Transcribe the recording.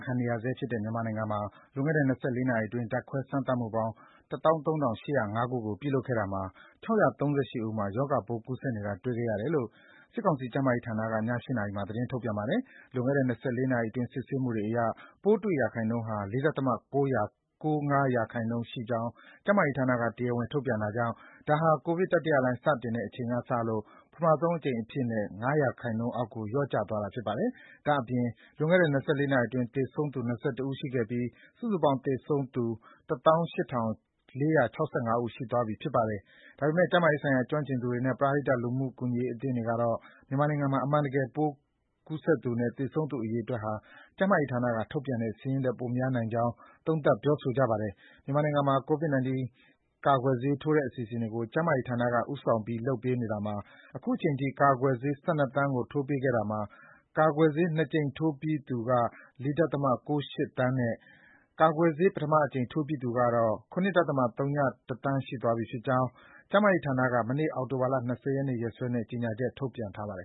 ခံနေရဆဲဖြစ်တဲ့ မြန်မာနိုင်ငံမှာ လွန်ခဲ့တဲ့ ၂၄ နာရီအတွင်း ဓါတ်ခွဲစမ်းသပ်မှုပေါင်း ၁၃,၈၀၅ ခုကို ပြုလုပ်ခဲ့တာမှာ ၆၃၈ ဦး ရောဂါပိုး ကူးစက်နေတာ တွေ့ရှိခဲ့တယ်လို့ စစ်ကောင်စီကျန်းမာရေးဌာနက ည ၈ နာရီမှာ သတင်းထုတ်ပြန်ပါတယ်။ လွန်ခဲ့တဲ့ ၂၄ နာရီအတွင်း စစ်ဆေးမှုအရ ပိုးတွေ့ရာခိုင်နှုန်းဟာ ၄.၉၅ % ရှိကြောင်း ကျန်းမာရေးဌာနက တရားဝင်ထုတ်ပြန်တာကြောင့် ဒါဟာ COVID-19 တတိယလှိုင်း စတင်တဲ့အချိန်ကလို့ ပထမဆုံးအကြိမ်အဖြစ် ၅% အောက်ကို လျော့ကျသွားတာ ဖြစ်ပါတယ်။ ဒါ့အပြင် လွန်ခဲ့တဲ့၂၄ နာရီအတွင်း သေဆုံးသူ၂၁ ဦးရှိခဲ့ပြီး စုစုပေါင်း သေဆုံးသူ ၁၈,၄၆၅ ဦး ရှိသွားပြီ ဖြစ်ပါတယ်။ ဒါပေမယ့် ကျန်းမာရေးဆိုင်ရာ ကျွမ်းကျင်သူတွေနဲ့ ပရဟိတ လူမှုကူညီရေးအသင်းတွေကတော့ မြန်မာနိုင်ငံမှာ ကိုဗစ်တတိယလှိုင်းအတွင်း အမှန်တကယ် ပိုးကူးစက်သူနဲ့ သေဆုံးသူအရေအတွက် ဟာ ကျန်းမာရေးဌာနက ထုတ်ပြန်တဲ့စာရင်းထက် ပိုများနိုင်ကြောင်း သုံးသပ် ပြောဆိုကြပါတယ်။ မြန်မာနိုင်ငံမှာ COVID-19 ကာကွယ်ဆေးထိုးတဲ့အစီအစဉ်တွေကို ကျန်းမာရေးဌာနက ဦးဆောင်ပြီး လုပ်ဆောင်နေတာမှာ အခုချိန်ထိ ကာကွယ်ဆေး ၁၂ သန်းကို ထိုးပေးခဲ့တာမှာ ကာကွယ်ဆေး ၂ ကြိမ် အပြည့်ထိုးပြီးသူက ၄.၉၈ သန်းနဲ့ ကာကွယ်ဆေး ပထမတကြိမ် ထိုးပြီးသူကတော့ ၇.၀၁ သန်းရှိသွားပြီဖြစ်ကြောင်း ကျန်းမာရေးဌာနက မနေ့ အောက်တိုဘာလ ၂၀ ရက်နေ့ရက်စွဲနဲ့ ကြေညာချက် ထုတ်ပြန်ထားပါတယ်